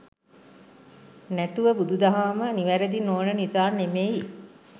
නැතුව බුදු දහම නිවැරදි නොවන නිසා නෙමෙයි.